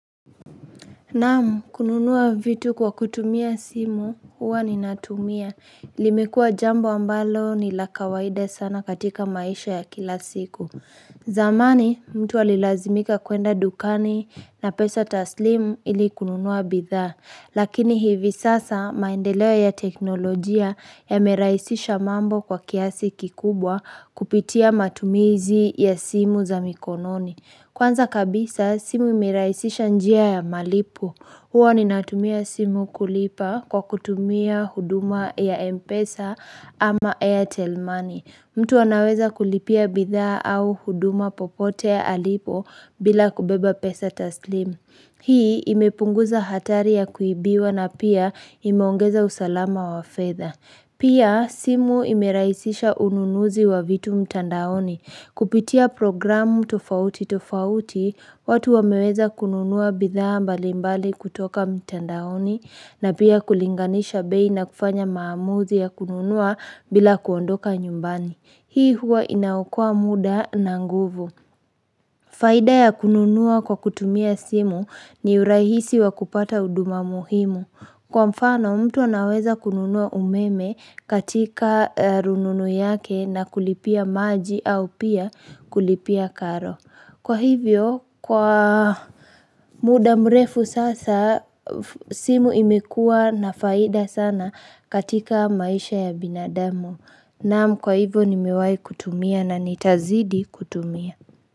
Naam, kununua vitu kwa kutumia simu, huwa ni natumia. Limekua jambo ambalo ni lakawaida sana katika maisha ya kila siku. Zamani, mtu alilazimika kuenda dukani na pesa taslimu ili kununua bidhaa. Lakini hivi sasa maendeleo ya teknolojia ya merahisisha mambo kwa kiasi kikubwa kupitia matumizi ya simu za mikononi. Kwanza kabisa, simu imerahisisha njia ya malipo. Huwa ni natumia simu kulipa kwa kutumia huduma ya Mpesa ama ya airtel money mtu anaweza kulipia bidhaa au huduma popote ya alipo bila kubeba pesa taslim. Hii imepunguza hatari ya kuibiwa na pia imaongeza usalama wa fedha. Pia, simu imerahisisha ununuzi wa vitu mtandaoni. Kupitia programu tofauti tofauti, watu wameweza kununua bidhaa mbalimbali kutoka mtandaoni na pia kulinganisha bei na kufanya maamuzi ya kununua bila kuondoka nyumbani. Hii huwa inaokua muda na nguvu. Faida ya kununua kwa kutumia simu ni urahisi wa kupata huduma muhimu. Kwa mfano, mtu anaweza kununua umeme katika rununu yake na kulipia maji au pia kulipia karo. Kwa hivyo, kwa muda mrefu sasa, simu imekua nafaida sana katika maisha ya binadamu. Naamkwa hivyo, nimewai kutumia na nitazidi kutumia.